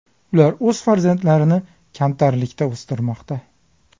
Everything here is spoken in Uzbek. Ular o‘z farzandlarini kamtarlikda o‘stirmoqda.